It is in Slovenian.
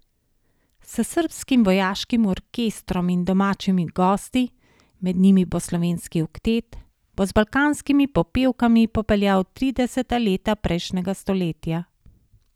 S Srbskim vojaškim orkestrom in domačimi gosti, med njimi bo Slovenski oktet, bo z balkanskimi popevkami popeljal v trideseta leta prejšnjega stoletja.